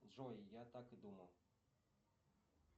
джой я так и думал